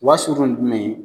U ba surun ni jumɛn ye.